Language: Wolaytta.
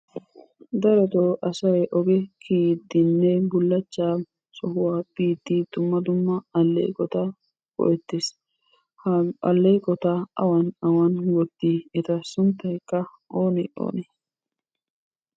Darotto asay ogee kiyidinne bulachaa sohuwaa bidi dumma dumma aleqottaa go'ettesi, ha aleqottaa awan awan wotti, ettaa sunttaykkaa onne onne?